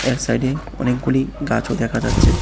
এর সাইডে অনেকগুলি গাছও দেখা যাচ্ছে।